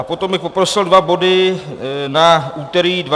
A potom bych poprosil dva body na úterý 12. února.